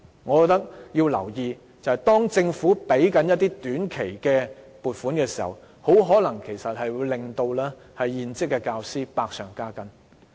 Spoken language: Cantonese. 我覺得要留意的是，當政府批出短期撥款時，會令現職教師的工作百上加斤。